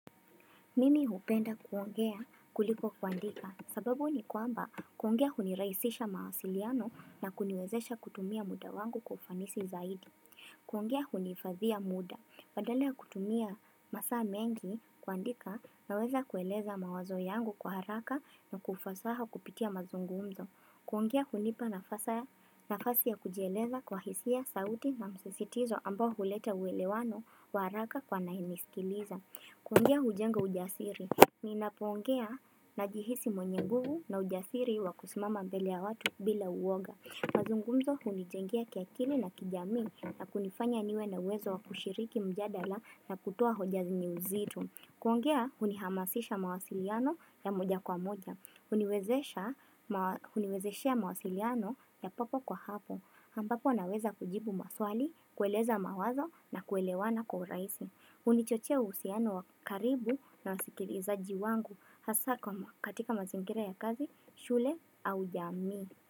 Mimi hupenda kuongea kuliko kuandika sababu ni kwamba kuongea huniraisisha mawasiliano na kuniwezesha kutumia muda wangu kwa ufanisi zaidi. Kuongea hunihifadhia muda. Badala ya kutumia masaa mengi kuandika naweza kueleza mawazo yangu kwa haraka na kwa ufasaha kupitia mazungumzo. Kuongea hunipa nafasi ya kujieleza kwa hisia sauti na msisitizo ambao huleta uwelewano wa haraka kwa anayenisikiliza. Kuongea hujenga ujasiri, ninapoongea najihisi mwenye nguvu na ujasiri wa kusimama mbele ya watu bila uwoga. Mazungumzo hunijengea kiakili na kijami na kunifanya niwe na uwezo wa kushiriki mjadala na kutoa hoja zini uzitu. Kuongea hunihamasisha mawasiliano ya moja kwa moja. Huniwezesha Huniwezeshea mawasiliano ya papo kwa hapo. Ambapo naweza kujibu maswali, kueleza mawazo na kuelewana kwa uraisi. Hunichochea usiano wa karibu na wasikilizaji wangu hasa katika mazingira ya kazi, shule au jamii.